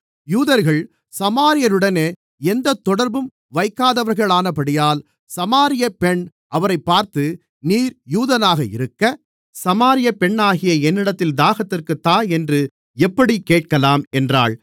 யூதர்கள் சமாரியருடனே எந்தத் தொடர்பும் வைக்காதவர்களானபடியால் சமாரிய பெண் அவரைப் பார்த்து நீர் யூதனாக இருக்க சமாரிய பெண்ணாகிய என்னிடத்தில் தாகத்திற்குத் தா என்று எப்படிக் கேட்கலாம் என்றாள்